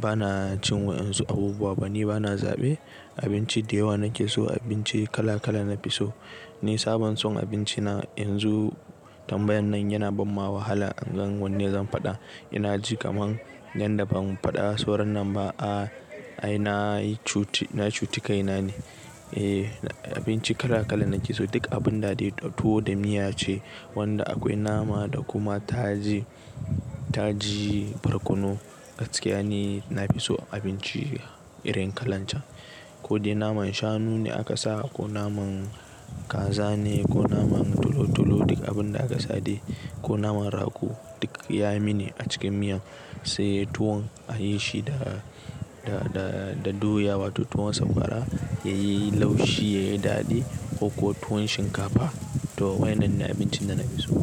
bana cin wa'ansu abubuwa ba, ni bana zaɓe abinci da yawa nake so abinci kala kala na fi so. Ni sabon son abinci na yanzu tambayan nan yana bamma wahala in gan wanne zan faɗa. Ina ji kamar yanda ban faɗa sauran nan ba. A'a ai nayi cuti, na cuti kaina ne. Eh abinci kala kala nake so duk abun da dai tuwo da miya ce wanda akwai nama da kuma taji, taji, barkono gaskiya ni na fi so abinci irin kalar can. Ko dai naman shanu ne aka sa ko naman kaza ne ko naman tolo tolo duk abun da aka sade ko naman rago duk ya mini a cikin miyan sai tuwon a yi shi da, da, da doya wato tuwon sakwara ya yi laushi ya yi daɗi, koko tuwon shinkafa to waɗannan ne abincin da na fi so.